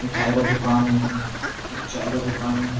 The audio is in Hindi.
मिठाई का दुकान है एक चाय का दुकान है ।